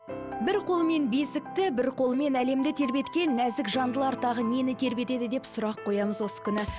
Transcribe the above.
бір қолымен бесікті бір қолымен әлемді тербеткен нәзік жандылар тағы нені тербетеді деп сұрақ қоямыз осы күні